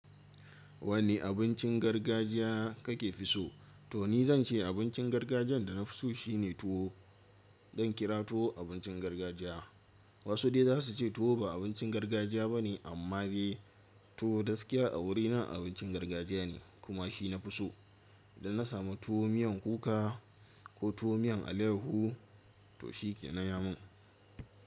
Wanne abincin gargajiya kake fiso? To ni zan ce abincin gargajiyan da na fi so shine tuwo. Zan kira tuwo abincin gargajiya. Wasu dai za su ce tuwo ba abincin gargajiya ba ne amma dai tuwo gaskiya a wurina abincin gargajiya ne kuma shi na fi so. Idan na samu tuwo miyan kuka ko tuwo miyan alehu to shi ke na yamun.